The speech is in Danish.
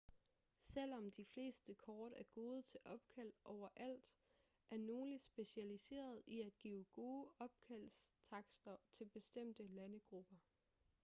selvom de fleste kort er gode til opkald overalt er nogle specialiseret i at give gode opkaldstakster til bestemte landegrupper